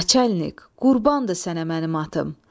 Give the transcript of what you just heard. Naçalik, qurbandır sənə mənim atım!